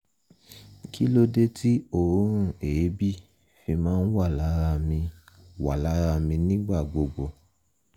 kí ló dé tí òórùn èébì fi máa ń wà lára mi wà lára mi nígbà gbogbo?